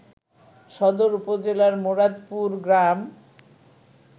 সদর উপজেলার মুরাদপুর গ্রাম